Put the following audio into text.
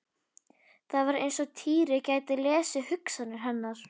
Það var eins og Týri gæti lesið hugsanir hennar.